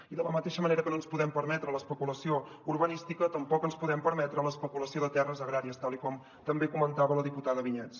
i de la mateixa manera que no ens podem permetre l’especulació urbanística tampoc ens podem permetre l’especulació de terres agràries tal com també comentava la diputada vinyets